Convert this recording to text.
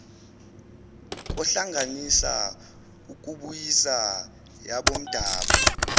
kohlanganisa ukubuyisa yabomdabu